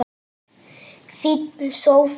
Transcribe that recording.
Fínn sófi!